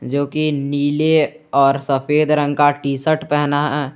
जो कि नीले और सफेद रंग का टीशर्ट पहना--